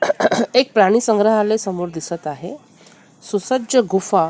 एक प्राणी संग्रहालय समोर दिसत आहे सुसज्ज गुफा --